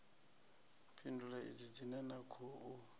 phindulo idzi dzine na khou